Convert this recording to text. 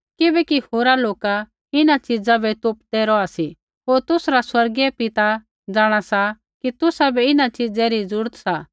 किबैकि होरा लोका इन्हां च़िज़ा बै तोपदै रौहा सी होर तुसरा स्वर्गीय बापू जाँणा सा कि तुसाबै इन्हां च़ीज़ै री ज़रूरत सा